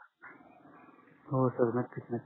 हो सर नक्कीच